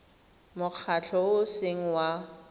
mokgatlho o o seng wa